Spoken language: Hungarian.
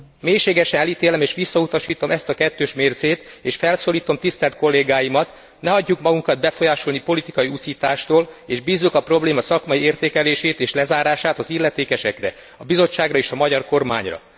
Mélységesen elítélem és visszautasítom ezt a kettős mércét, és felszólítom tisztelt kollégáimat, ne hagyjuk magunkat befolyásolni politikai uszítástól, és bízzuk a probléma szakmai értékelését és lezárását az illetékesekre, a Bizottságra és a magyar kormányra.